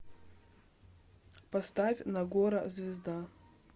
поставь нагора звезда